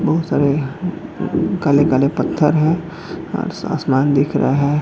बहुत सारे काले-काले पत्थर है आसमान दिख रहा हैं।